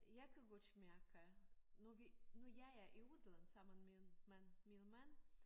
Jeg kan godt mærke når vi når jeg er i udlandet sammen min mand min mand